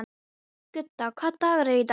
Gudda, hvaða dagur er í dag?